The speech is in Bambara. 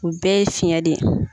U bɛɛ ye fiyɛn de ye.